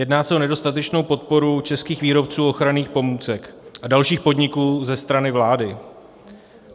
Jedná se o nedostatečnou podporu českých výrobců ochranných pomůcek a dalších podniků ze strany vlády.